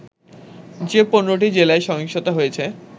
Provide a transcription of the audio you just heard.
যে ১৫টি জেলায় সহিংসতা হয়েছে